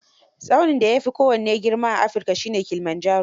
Tsaunin da ya fi kowanne girma a Africa shi ne Kilimanjaro